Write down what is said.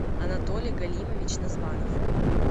анатолий галимович названов